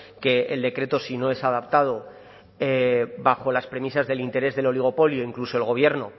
que el decreto si no es adaptado bajo las premisas del interés del oligopolio incluso el gobierno